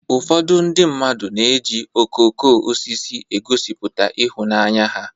Ụfọdụ ndị mmadu na-eji okooko osisi egosipụta ịhụnanya ha.